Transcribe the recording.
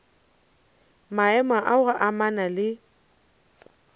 maemo a go amana le